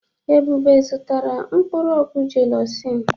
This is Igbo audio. Ebube zụtara mkpụrụ ọgwụ jelusin.